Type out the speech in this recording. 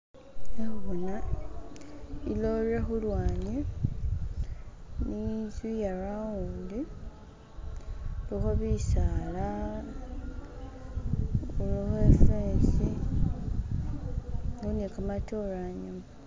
Khe khuboona ilory khulwanyi ni inzu yaroundi khulikho bisaala khulikho ifensi ni khamatoore ayuma